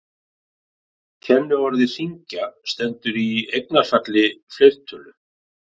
Kenniorðið hringa stendur í eignarfalli fleirtölu.